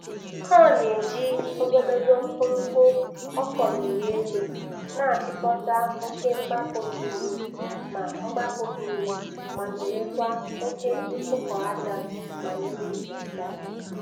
Ọ na-eji ogologo mkumkpu a kọliri elu na-achịkọta oke mgbapụ mmiri ma mgbapụ mmiri ma zerekwa oke mkpụkọ aja ma mmiri zochaa.